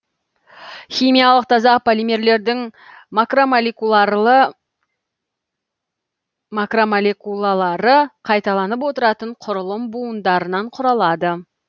химиялық таза полимерлердің макромолекулалары қайталанып отыратын құрылым буындарынан құралады